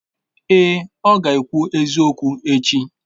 Èè, ọ ga-ekwu eziokwu echi.